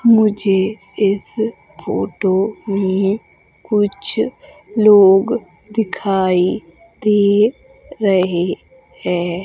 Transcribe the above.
मुझे इस फोटो में कुछ लोग दिखाई दे रहे हैं।